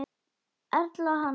Erla Halls.